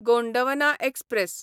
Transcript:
Gondwana express